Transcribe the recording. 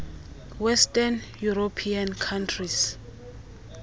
western european countries